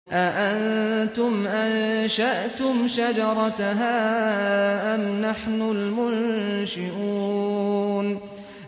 أَأَنتُمْ أَنشَأْتُمْ شَجَرَتَهَا أَمْ نَحْنُ الْمُنشِئُونَ